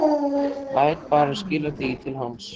Lét bara skila því til hans!